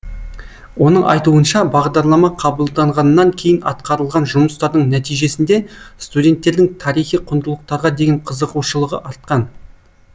оның айтуынша бағдарлама қабылданғаннан кейін атқарылған жұмыстардың нәтижесінде студенттердің тарихи құндылықтарға деген қызығушылығы артқан